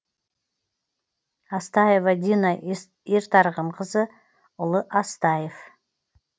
астаева дина ертарғынқызы ұлы астаев